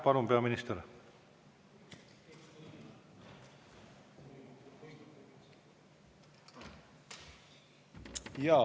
Palun, peaminister!